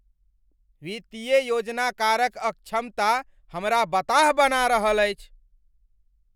वित्तीय योजनाकारक अक्षमता हमरा बताह बना रहल अछि।